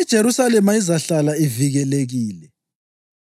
IJerusalema izahlala ivikelekile.